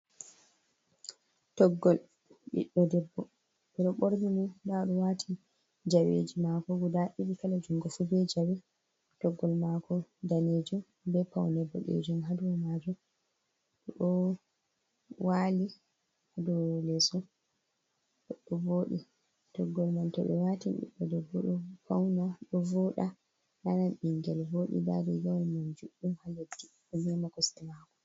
Toggol ɓiɗɗo debbo, ɓe ɗo ɓorni mo, ndaa o ɗo waati jaweji maako guda ɗoɗi, kala junngo fu be jawe, toggol maako daneejum be pawne bo, boɗeejum haa dow maajum. O ɗo waali haa dow leeso, o ɗo vooɗi, toggol man to ɓe waatin ɓiɗɗo debbo, ɗo pawna, ɗo vooɗa nan ɓinngel bo. Ndaa ɗo riigawol man juɗɗum haa leddi, ɗo mema kosɗe maako.